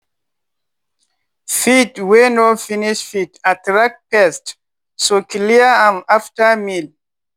feed wey no finish fit attract pests so clear am after meal.